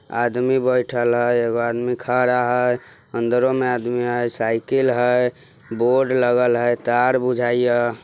आदमी बैठल है एगो आदमी खड़ा हय अंदरों में आदमी है साइकिल है बोर्ड लगल है तार बुजाइय।